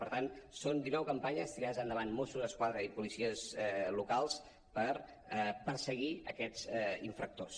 per tant són dinou campanyes tirades endavant mossos d’esquadra i policies locals per perseguir aquests infractors